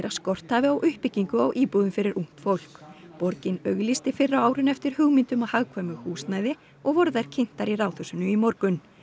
að skort hafi á uppbyggingu á íbúðum fyrir ungt fólk borgin auglýsti fyrr á árinu eftir hugmyndum að hagkvæmu húsnæði og voru þær kynntar í Ráðhúsinu í morgun